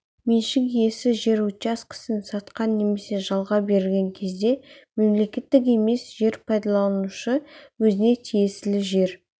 меншік иесі жер учаскесін сатқан немесе жалға берген кезде мемлекеттік емес жер пайдаланушы өзіне тиесілі жер